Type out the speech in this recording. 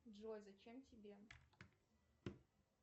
джой зачем тебе